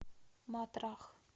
матрах